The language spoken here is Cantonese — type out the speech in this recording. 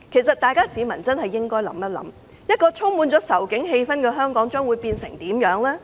市民應想想，充滿仇警氣氛的香港會變成怎樣？